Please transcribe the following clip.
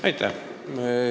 Aitäh!